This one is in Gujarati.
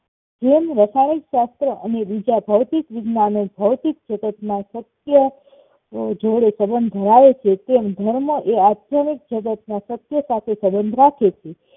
જેમ રાસાયણિકશાસ્ત્ર અને બીજા ભૌતિક વિજ્ઞાનો ભૌતિક જગતમાં સત્ય જોડે સઁબઁધો આવે છે એમ ધર્મ એ આધ્યમિક જાગત ના સત્ય સાથે સબન્ધ રાખે છે